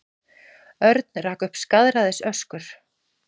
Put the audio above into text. Örn rak upp skaðræðisöskur.